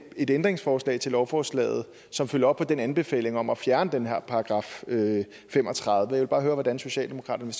et ændringsforslag til lovforslaget som følger op på den anbefaling om at fjerne den her § fem og tredive jeg vil bare høre hvordan socialdemokratiet